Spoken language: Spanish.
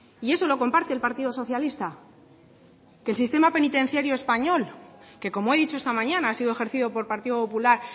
y eso lo comparte el partido socialista que el sistema penitenciario español que como he dicho esta mañana ha sido ejercido por partido popular